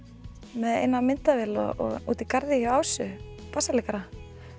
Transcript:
með eina myndavél útí garði hjá Ásu bassaleikara